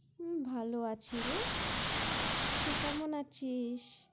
হম ভালো আছি রে। তুই কেমন আছিস?